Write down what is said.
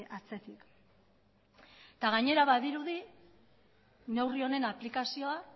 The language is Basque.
atzetik eta gainera badirudi neurri honen aplikazioa